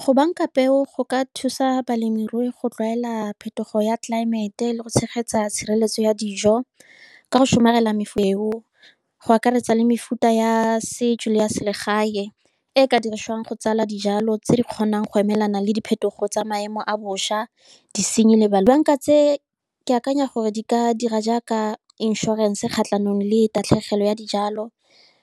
Go banka peo go ka thusa balemirui go tlwaela phetogo ya tlelaemete, le go tshegetsa tshireletso ya dijo, ka go somarela mefeu go akaretsa le mefuta ya setso le ya selegae, e ka dirisiwang go tsala dijalo tse di kgonang go emelana le diphetogo tsa maemo a bošwa. tse, ke akanya gore di ka dira jaaka inšorense kgatlhanong le tatlhegelo tlogelo ya dijalo.